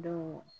Dɔw